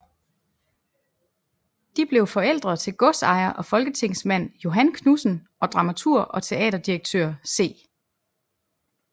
De blev forældre til godsejer og folketingsmand Johan Knudsen og dramaturg og teaterdirektør C